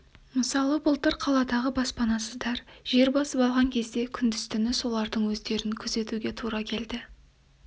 мысалы былтыр қаладағы баспанасыздар жер басып алған кезде күндіз-түні солардың өздерін күзетуге тура келді